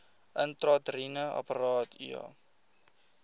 intrauteriene apparaat iua